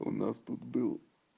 у нас тут был